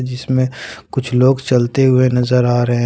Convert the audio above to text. जिसमें कुछ लोग चलते हुए नजर आ रहे--